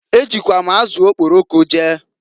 E jikwa m azụ okporoko jee.